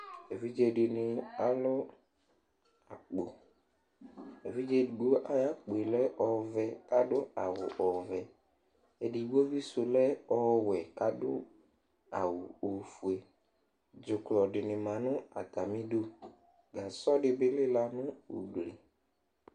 evidze di ni alo akpo evidze edigbo ayi akpoe lɛ ɔvɛ k'ado awu ɔvɛ edigbo bi sò lɛ ɔwɛ k'ado awu ofue dzuklɔ di ni ma no atami du gasɔ di bi lela no ugli